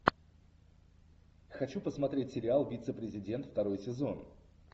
хочу посмотреть сериал вице президент второй сезон